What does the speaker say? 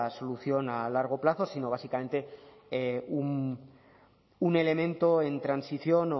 solución a largo plazo sino básicamente un elemento en transición